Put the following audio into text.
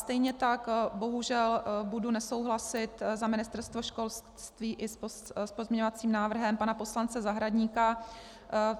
Stejně tak bohužel budu nesouhlasit za Ministerstvo školství i s pozměňovacím návrhem pana poslance Zahradníka.